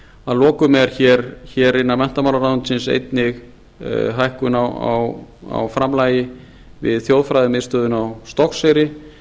að lokum er innan menntamálaráðuneytisins einnig hækkun á framlagi við þjóðfræðimiðstöðina á stokkseyri